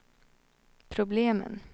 problemen